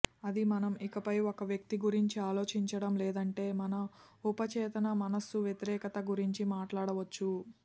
అది మనం ఇకపై ఒక వ్యక్తి గురించి ఆలోచించటం లేదంటే మన ఉపచేతన మనస్సు వ్యతిరేకత గురించి మాట్లాడవచ్చు